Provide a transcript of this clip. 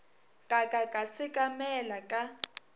ka ka ka sekamela ka